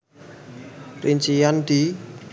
Rincian di